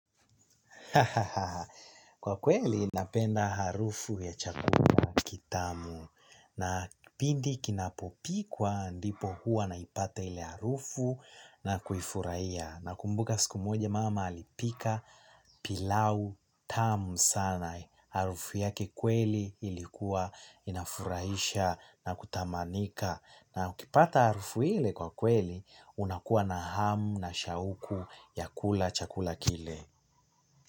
Kwa kweli napenda harufu ya chakula kitamu na pindi kinapo pikwa ndipo huwa naipata ile harufu na kuifurahia, nakumbuka siku moja mama alipika pilau tamu sana harufu yake kweli ilikuwa inafurahisha na kutamanika na ukipata harufu ile kwa kweli unakuwa na hamu na shauku ya kula chakula kile.